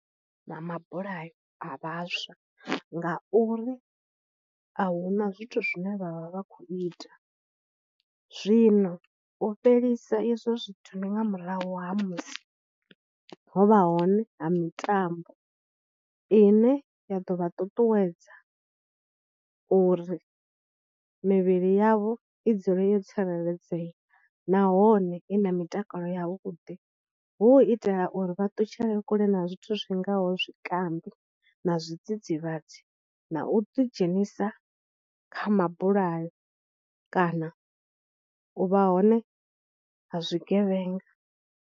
Na mabulayo a vhaswa ngauri a hu na zwithu zwine vha vha vha khou ita, zwino u fhelisa izwo zwithu ndi nga murahu ha musi ho vha hone ha mitambo ine ya ḓo vha ṱuṱuwedza uri mivhili yavho i dzule yo tsireledzea nahone i na mitakalo yavhuḓi hu u itela uri vha ṱutshele kule na zwithu zwi ngaho zwikambi na zwidzidzivhadzi na u ḓidzhenisa kha mabulayo kana u vha hone ha zwi tshigevhenga.